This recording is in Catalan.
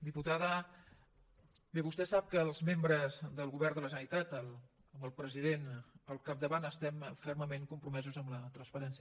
diputada bé vostè sap que els membres del govern de la generalitat amb el president al capdavant estem fermament compromesos amb la transparència